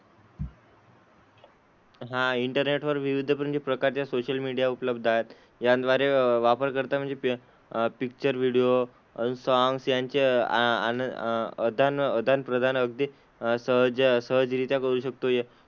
हां इंटरनेटवर विविध प्रकारचे सोशल मीडिया उपलब्ध आहेत. यांद्वारे वापर करता म्हणजे पि अह पिक्चर व्हिडिओ, सॉंग्स यांचे अह अन अदान आदानप्रदान अगदी असं जे सहजरित्या करू शकतो हे.